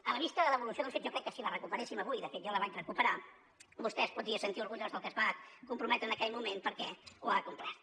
a la vista de l’evolució dels fets jo crec que si la recuperéssim avui de fet jo la vaig recuperar vostè es podria sentir orgullós del que es va comprometre en aquell moment perquè ho ha complert